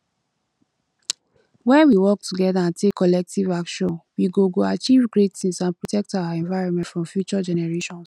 when we work together and take collective action we go go achieve great things and protect our environment for future generations